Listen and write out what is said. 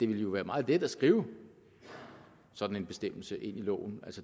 ville være meget let at skrive sådan en bestemmelse ind i loven